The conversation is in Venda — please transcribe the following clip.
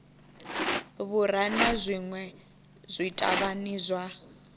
vhura na zwinwe zwithavhani zwa